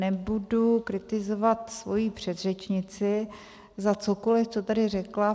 Nebudu kritizovat svoji předřečnici za cokoli, co tady řekla.